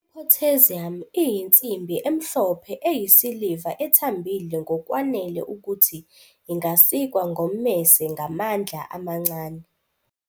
I-Potassium iyinsimbi emhlophe eyisiliva ethambile ngokwanele ukuthi ingasikwa ngommese ngamandla amancane.